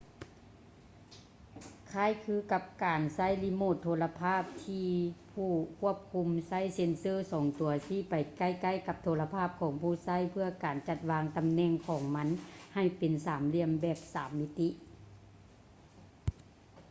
ຄ້າຍຄືກັບການໃຊ້ຣີໂມດໂທລະພາບ ທີ່ຜູ້ຄວບຄຸມໃຊ້ເຊັນເຊີສອງຕົວຊີ້ໄປໃກ້ໆກັບໂທລະພາບຂອງຜູ້ໃຊ້ ເພື່ອການຈັດວາງຕຳແໜ່ງຂອງມັນໃຫ້ເປັນສາມຫຼ່ຽມແບບສາມມິຕິ